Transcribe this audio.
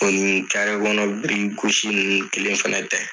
U ni kɔnɔ birikigosi ninnu kelen fana tɛ fana .